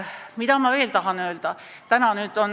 Mida ma veel tahan öelda?